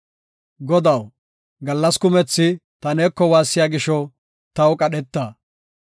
Godaw, gallas kumethi ta neeko waassiya gisho, taw qadheta.